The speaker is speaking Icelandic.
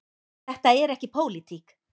Þetta er ekki pólitík.